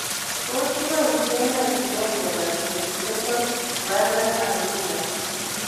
Tos kipoishe nee kenyae miondop Prinzmetal's variant angina